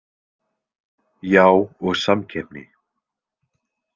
Já og samkeppni.